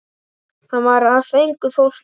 Hann var af engu fólki.